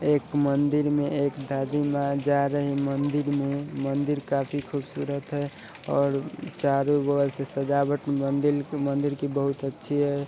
एक मंदिर में एक दादी माँ जा रही है मंदिर काफी ख़ूबसूरत है और चारो ओर सजावट मंदिर की बहुत अच्छी है